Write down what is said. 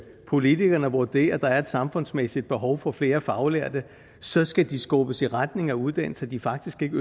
politikerne vurderer at der er et samfundsmæssigt behov for flere faglærte så skal de skubbes i retning af uddannelser de faktisk ikke